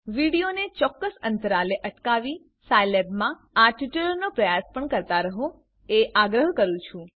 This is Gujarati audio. વિડીઓને ચોક્કસ અંતરાલે અટકાવી સાયલેબમાં આ ટ્યુટોરીયલનો પ્રયાસ પણ કરતા રહો એ આગ્રહ કરું છું